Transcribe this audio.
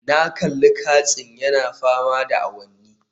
Na kalli katsin yana fama da awanni